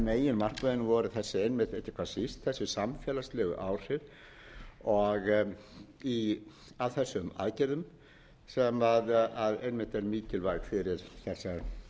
meginmarkmiðin voru þessi einmitt ekki hvað síst þessi samfélagslegu áhrif af þessum aðgerðum sem einmitt er mikilvæg fyrir þessa